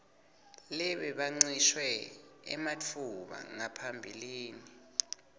lebekancishwe ematfuba ngaphambilini